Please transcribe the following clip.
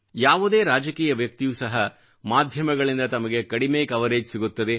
ಯಾವುದೇ ರಾಜಕೀಯ ವ್ಯಕ್ತಿಯೂ ಸಹ ಮಾಧ್ಯಮಗಳಿಂದ ತಮಗೆ ಕಡಿಮೆ ಕವರೇಜ್ ಸಿಗುತ್ತದೆ